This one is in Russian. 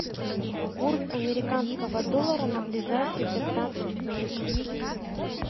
курс американского доллара на ближайшие пятнадцать дней